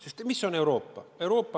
Sest mis on Euroopa?